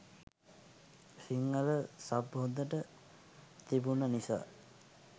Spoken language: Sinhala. සිංහල සබ් හොදට තිබුන නිසා.